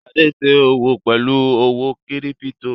Ṣadé ń ṣe òwò pelu owó kírípító.